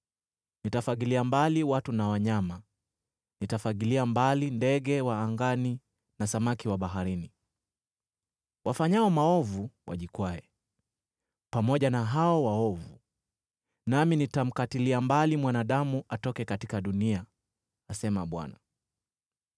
“Nitafagilia mbali watu na wanyama; nitafagilia mbali ndege wa angani na samaki wa baharini. Wafanyao maovu watapata tu kokoto, nami nitamkatilia mbali mwanadamu atoke katika dunia,” asema Bwana .